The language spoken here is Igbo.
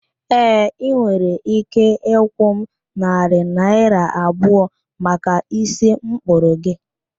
Ee, ị nwere ike ịkwụ m narị naịra abụọ maka ísí mkpụrụ gị